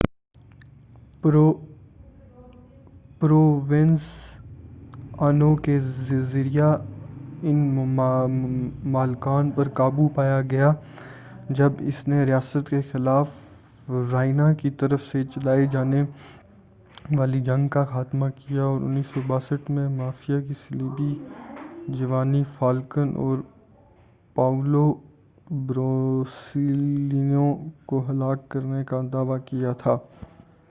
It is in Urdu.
پروونزانو کے ذریعہ ان مالکان پر قابو پایا گیا تھا جب اس نے ریاست کے خلاف رائنا کی طرف سے چلائے جانے والی جنگ کا خاتمہ کیا اور 1992 میں مافیا کے صلیبی جیوانی فالکن اور پاولو بورسیلینو کو ہلاک کرنے دعوی کیا تھا